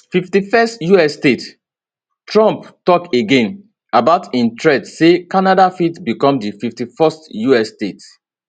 51st us statetrump tok again about im threat say canada fit become di 51st us state